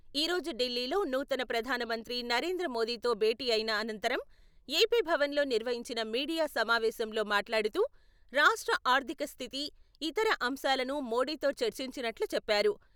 ఈ రోజు ఢిల్లీలో నూతన ప్రధాన మంత్రి నరేంద్ర మోడీతో భేటీ అయిన అనంతరం ఏపీ భవన్‌లో నిర్వహించిన మీడియా సమావేశంలో మాట్లాడుతూ, రాష్ట్ర ఆర్థిక స్థితి, ఇతర అంశాలను మోడీతో చర్చించినట్లు చెప్పారు.